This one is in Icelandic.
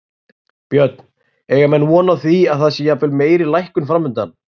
Björn, eiga menn von á því að það sé jafnvel meiri lækkun framundan?